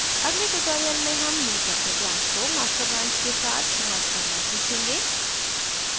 अगले tutorial में हम newchapter branch को master branch के साथ merge करना सीखेंगे